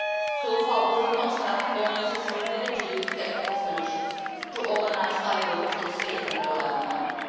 So far we do not have all the necessary data to use technical solutions to organise i Vote in a safe and reliable manner.